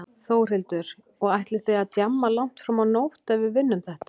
Þórhildur: Og ætlið þið að djamma langt fram á nótt ef við vinnum þetta?